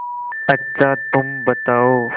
अच्छा तुम बताओ